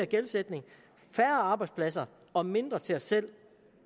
gældsætning færre arbejdspladser og mindre til os selv